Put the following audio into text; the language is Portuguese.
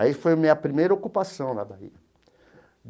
Aí foi a minha primeira ocupação na Bahia.